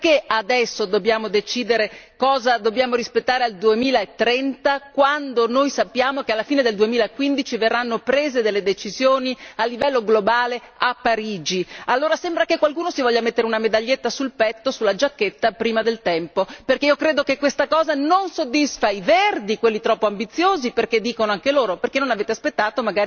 Perché adesso dobbiamo decidere cosa dobbiamo rispettare al 2030 quando noi sappiamo che alla fine del 2015 verranno prese delle decisioni a livello globale a Parigi? Allora sembra che qualcuno si voglia mettere una medaglietta sul petto, sulla giacchetta, prima del tempo, perché io credo che questa cosa non soddisfa i Verdi, quelli troppo ambiziosi, perché dicono anche loro Perché non avete aspettato?